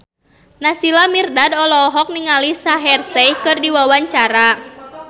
Naysila Mirdad olohok ningali Shaheer Sheikh keur diwawancara